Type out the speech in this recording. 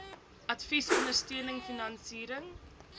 advies ondersteuning finansiering